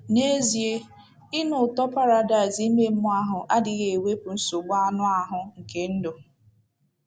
N’ezie, ịnụ ụtọ paradaịs ime mmụọ ahụ adịghị ewepụ nsogbu anụ ahụ nke ndụ.